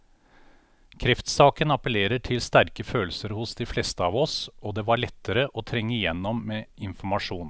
Kreftsaken appellerer til sterke følelser hos de fleste av oss, og det var lettere å trenge igjennom med informasjon.